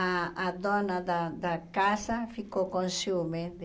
A a dona da da casa ficou com ciúmes de...